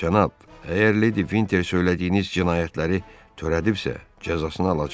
Cənab, əgər Ledli Vinter söylədiyiniz cinayətləri törədirsə, cəzasını alacaq.